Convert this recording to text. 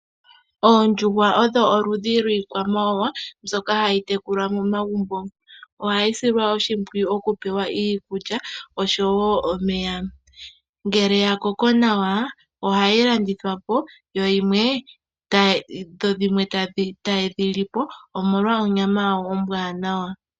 Oondjuhwa odho oludhi lwiikwa mawawa mbyoka hayi tekulwa momagumbo ohayi silwa oshimpwiyu okupewa iikulya oshowo omeya ngele ya koko nawa ohayi landithwa po dho dhimwe taye dhilipo omolwa onyama yawo ombwanawa.